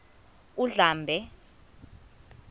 undlambe